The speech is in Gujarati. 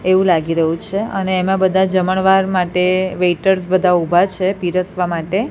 એવું લાગી રહ્યું છે અને એમાં બધા જમણવાર માટે વેઇટર્સ બધા ઊભા છે પીરસવા માટે.